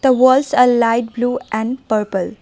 the walls a light blue and purple.